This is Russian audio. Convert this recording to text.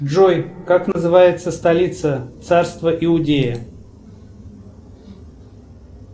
джой как называется столица царства иудея